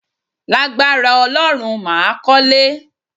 Lágbára Ọlọ́run, màá kọ́lé